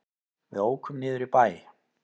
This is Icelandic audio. Við ókum niður í bæ.